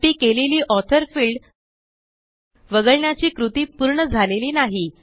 शेवटी केलेली author field वगळण्याची कृती पूर्ण झालेली नाही